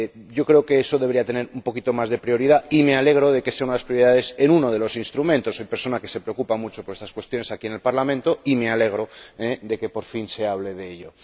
Yo creo que eso debería tener un poquito más de prioridad y me alegro de que sea una de las prioridades en uno de los instrumentos. Soy persona que se preocupa mucho por estas cuestiones aquí en el Parlamento y me alegro de que, por fin, se hable de ello.